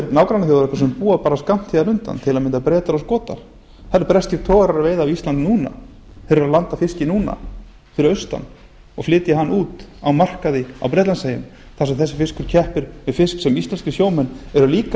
nágrannaþjóðirnar búa bara skammt hérna undan til að mynda bretar og skotar það eru breskir togarar að veiða við ísland núna þeir eru að landa fiski núna fyrir austan og flytja hann út á markaði á bretlandseyjum þar sem þessi fiskur keppir við fisk sem íslenskir sjómenn eru líka